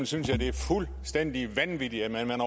synes jeg det er fuldstændig vanvittigt at man